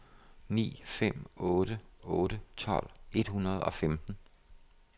ni fem otte otte tolv et hundrede og femten